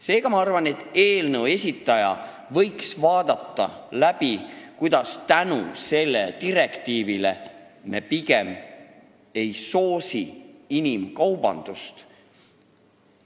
Seega ma arvan, et eelnõu esitaja võiks selle veel läbi mõelda ja jõuda järeldusele, et me pigem ei soosi inimkaubandust.